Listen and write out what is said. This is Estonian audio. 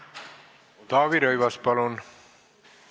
Taavi Rõivas, palun!